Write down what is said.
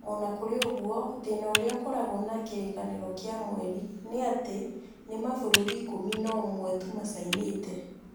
O na kũrĩ ũguo, thĩna ũrĩa ũkoragwo na Kĩrĩkanĩro kĩa Mweri nĩ atĩ nĩ mabũrũri ikũmi na ũmwe tu macainĩte.